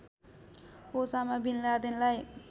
Osama bin लादेनलाई